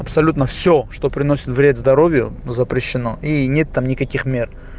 абсолютно всё что приносит вред здоровью запрещено и нет там никаких мер